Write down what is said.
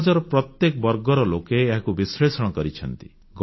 ସମାଜର ପ୍ରତ୍ୟେକ ବର୍ଗର ଲୋକ ଏହାକୁ ବିଶ୍ଳେଷଣ କରିଛନ୍ତି